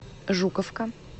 жуковка